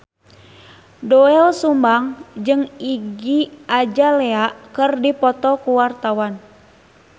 Doel Sumbang jeung Iggy Azalea keur dipoto ku wartawan